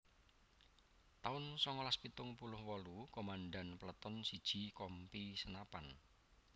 taun songolas pitung puluh wolu Komandan Peleton siji Kompi Senapan